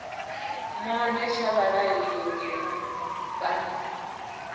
monde tsha vhaaleli ngeno bannda